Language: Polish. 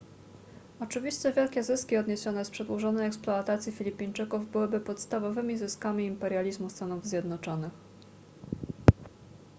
oczywiście wielkie zyski odniesione z przedłużonej eksploatacji filipińczyków byłyby podstawowymi zyskami imperializmu stanów zjednoczonych